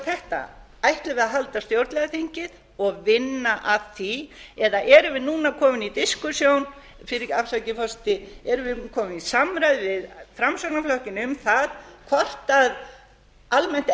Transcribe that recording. ætlum við að halda stjórnlagaþingið og vinna að því eða erum við núna komin í diskussjón afsakið forseti erum við komin í samræður við framsóknarflokkinn um það hvort almennt